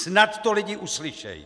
Snad to lidi uslyšej!